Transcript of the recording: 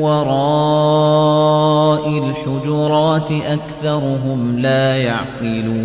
وَرَاءِ الْحُجُرَاتِ أَكْثَرُهُمْ لَا يَعْقِلُونَ